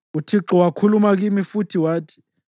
UThixo wakhuluma kimi futhi wathi: